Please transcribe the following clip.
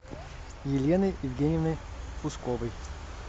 еленой евгеньевной усковой